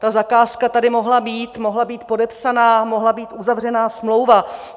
Ta zakázka tady mohla být, mohla být podepsaná, mohla být uzavřená smlouva.